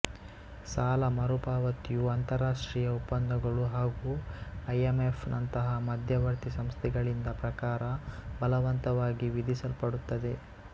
ಸಾಲ ಮರುಪಾವತಿಯು ಅಂತಾರಾಷ್ಟ್ರೀಯ ಒಪ್ಪಂದಗಳು ಹಾಗೂ ಐಎಂಎಫ್ ನಂತಹ ಮಧ್ಯವರ್ತಿ ಸಂಸ್ಥೆಗಳಿಂದ ಪ್ರಕಾರ ಬಲವಂತವಾಗಿ ವಿಧಿಸಲ್ಪಡುತ್ತದೆ